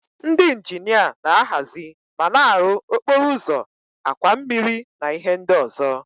Ndị injinia na-ahazi ma na-arụ okporo ụzọ, àkwà mmiri na ihe ndị ọzọ.